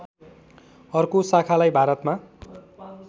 अर्को शाखालाई भारतमा